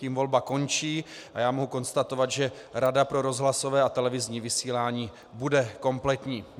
Tím volba končí a já mohu konstatovat, že Rada pro rozhlasové a televizní vysílání bude kompletní.